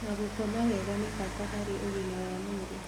na gũkoma wega nĩ bata harĩ ũgmia wa mwĩrĩ.